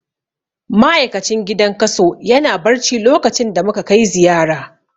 Ma'aikacin gidan kaso yana barci lokacin da muka kai ziyara.